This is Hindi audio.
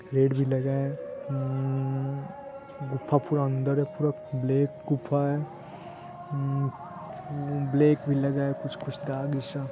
गेट भी लगा है ह्म्म्मम्म-गुफा पूरा अंदर है बहुत ब्लैक गुफा है हम्म्म-ब्लैक भी लगा है । कुछ कुछ तार भी सा --